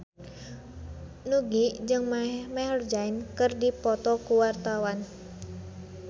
Nugie jeung Maher Zein keur dipoto ku wartawan